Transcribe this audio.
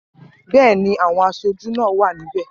Bẹ́ẹ̀ ni, àwọn aṣojú náà wà níbẹ̀